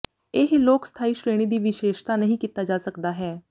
ਇਹ ਲੋਕ ਸਥਾਈ ਸ਼੍ਰੇਣੀ ਦੀ ਵਿਸ਼ੇਸ਼ਤਾ ਨਹੀ ਕੀਤਾ ਜਾ ਸਕਦਾ ਹੈ